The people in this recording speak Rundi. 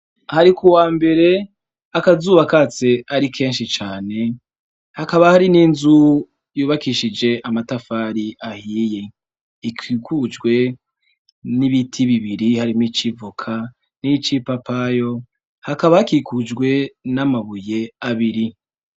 Hari ku wa mbere akazu bakatse ari kenshi cane hakaba hari n'inzu yubakishije amatafari ahiye ikikujwe n'ibiti bibiri harimwo ici ivoka n'icipapayo hakaba hakikujwe n'amabuye abiri.